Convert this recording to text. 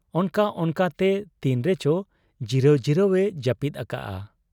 ᱚᱱᱠᱟ ᱚᱱᱠᱟᱛᱮ ᱛᱤᱱ ᱨᱮᱪᱚ ᱡᱤᱨᱟᱹᱣ ᱡᱤᱨᱟᱹᱣ ᱮ ᱡᱟᱹᱯᱤᱫ ᱟᱠᱟᱜ ᱟ ᱾